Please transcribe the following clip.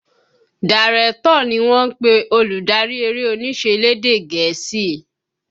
Dàrẹ̀tọ̀ ni wọ́n ń pè olùdarí eré onísẹ lédè gẹ̀ẹ́sì